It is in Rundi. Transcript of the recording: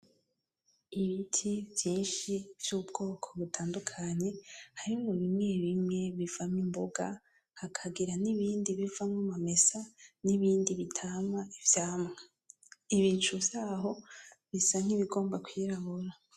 Ibiti vyinshi vy’ubwoko butandukanye harimwo bimwe bimwe bivamwo imboga, hakagira n’ibindi bivamwo amamesa, n’ibindi bitama ivyamwa. Ibicu vyaho bisa nkibigomba kwirabura.